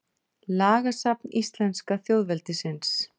Lagasafn íslenska þjóðveldisins.